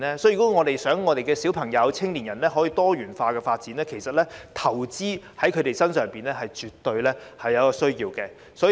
如果我們想小朋友、青年人有多元化的發展，投資在他們身上是絕對有需要的。